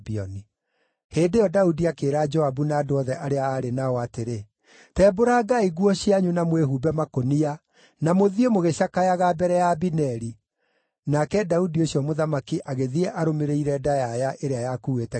Hĩndĩ ĩyo Daudi akĩĩra Joabu na andũ othe arĩa aarĩ nao atĩrĩ, “Tembũrangai nguo cianyu na mwĩhumbe makũnia, na mũthiĩ mũgĩcakayaga mbere ya Abineri.” Nake Daudi ũcio mũthamaki agĩthiĩ arũmĩrĩire ndayaya ĩrĩa yakuuĩte kĩimba.